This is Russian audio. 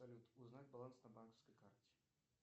салют узнать баланс на банковской карте